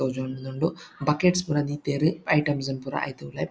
ತೋಜೊನೊಂದುಂಡು buckets ಪುರ ದೀತೆರ್ items ಲು ಪುರ ಐತ ಉಲಯಿ--